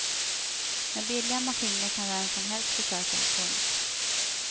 Med billiga maskiner kan vem som helst försöka. punkt